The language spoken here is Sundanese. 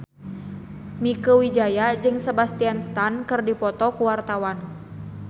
Mieke Wijaya jeung Sebastian Stan keur dipoto ku wartawan